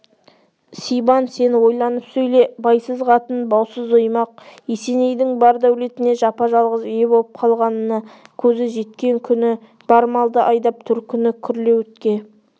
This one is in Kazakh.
сибан сен ойланып сөйле байсыз қатын баусыз оймақ есенейдің бар дәулетіне жапа-жалғыз ие болып қалғанына көзі жеткен күні бар малды айдап төркіні күрлеуітке